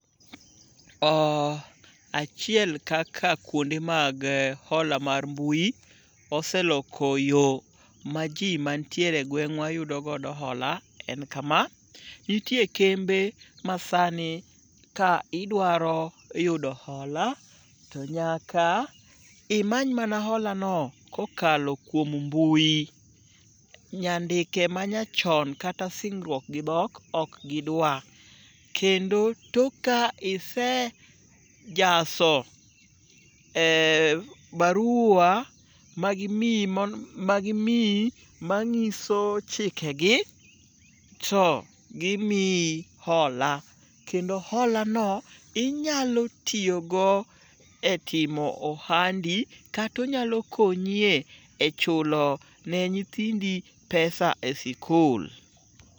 Achiel kaka kuonde mag hola mar mbui oseloko yo ma ji mantiere e gweng'wa yudo godo hola en kama; nitie kembe ma sani ka idwaro yudo hola to nyaka imany mana holano kokalo kuom mbui. Nyandike manyachon kata singruok gi dhok ok gidwa kendo tok ka isejaso barua ma gimiyo ma ng'iso chikegi to gimiyi hola, kendo holano inyalo tiyogo e timo ohandi kata onyalo konyi e chulo ne nyithindi pesa e sikul.